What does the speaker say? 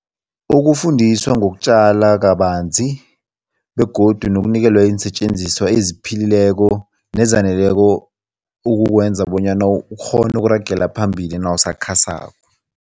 Ukufundiswa ngokutjala kabanzi begodu nokunikelwa iinsetjenziswa eziphilileko nezaneleko ukukwenza bonyana ukghone ukuragela phambili nawusakhasako.